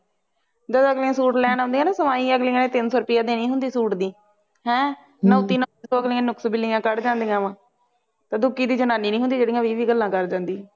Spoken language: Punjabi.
ਜਦੋ ਅਗਲੀਆਂ ਸੂਟ ਲੈਣ ਆਉਂਦੀਆਂ ਨਾ ਸਵਾਈ ਅਗਲੀਆ ਨੇ ਤਿਨਸੋ ਰੁਪਈਆ ਦੇਣੀ ਹੁੰਦੀ ਸੂਟ ਦੀ ਹੈਂ ਨਾਓਂਤੀ ਸੌ ਅਗਲੀਆਂ ਨੁਕਸ ਬਿਨੀਆ ਕੱਢ ਜਾਂਦੀਆਂ ਅਵ ਤੇ ਦੂਕੀ ਦੀ ਜਨਾਨੀ ਨਹੀਂ ਹੁੰਦੀ ਜਿਹੜੀ ਵੀਹ ਵੀਹ ਗੱਲਾਂ ਕਰ ਜਾਂਦੀ